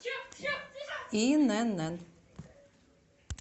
инн